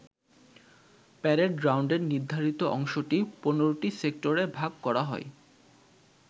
Parade গ্রাউন্ডের নির্ধারিত অংশটি ১৫টি সেক্টরে ভাগ করা হয়।